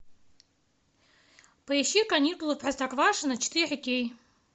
поищи каникулы в простоквашино четыре кей